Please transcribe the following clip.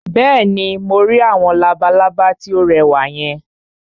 Bẹ́ẹ̀ni, mo rí àwọn labalábá tí ó rẹwà yẹn